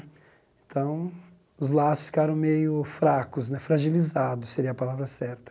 Então, os laços ficaram meio fracos né, fragilizados, seria a palavra certa.